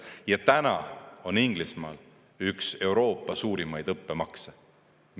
Ja täna on Inglismaal üks Euroopa suurimaid õppemakse.